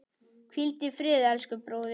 Hvíldu í friði, elsku bróðir.